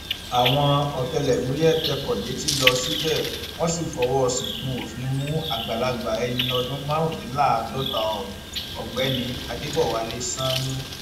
àwọn ọtẹlẹmúyẹ tẹkọ létí lọ síbẹ wọn sì fọwọ síkùn òfin mú àgbàlagbà ẹni ọdún márùndínláàádọta ohun ọgbẹni adébọwálé sanni